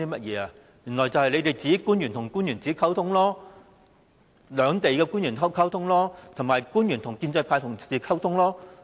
原來只是官員與官員溝通，兩地的官員溝通，以及官員和建制派溝通。